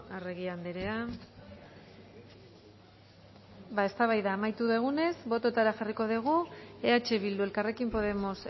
arregi andrea ba eztabaida amaitu dugunez botoetara jarriko dugu eh bildu elkarrekin podemos